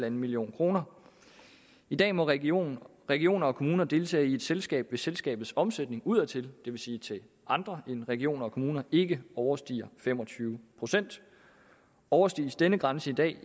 en million kroner i dag må regioner regioner og kommuner deltage i et selskab hvis selskabets omsætning udadtil det vil sige til andre end regioner og kommuner ikke overstiger fem og tyve procent overskrides denne grænse i dag